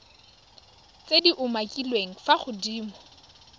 tse di umakiliweng fa godimo